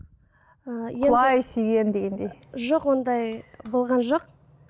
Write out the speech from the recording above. і құлай сүйген дегендей жоқ ондай болған жоқ